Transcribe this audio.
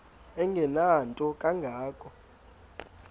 engenanto kanga ko